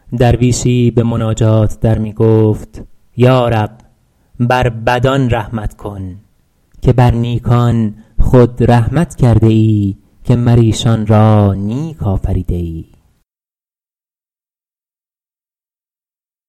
درویشی به مناجات در می گفت یا رب بر بدان رحمت کن که بر نیکان خود رحمت کرده ای که مر ایشان را نیک آفریده ای